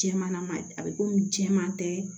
Cɛ man nɔgɔn a bɛ komi jɛman tɛ